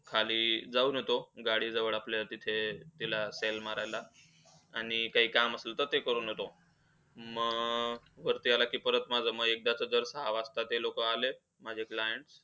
खाली जाऊन होतो. गाडी जवळ आपल्यातिथे, ते तिला तेल मारायला. आणि काय काम असेल तर ते करून येतो. मग, वरती आला कि परत माझा मग एकदा जर सहा वाजता ते लोकं आले, माझे clients,